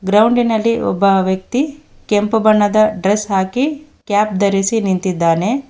ಗ್ರೌಂಡಿನಲ್ಲಿ ಒಬ್ಬ ವ್ಯಕ್ತಿ ಕೆಂಪು ಬಣ್ಣದ ಡ್ರೆಸ್ ಹಾಕಿ ಕ್ಯಾಪ್ ಧರಿಸಿ ನಿಂತಿದ್ದಾನೆ.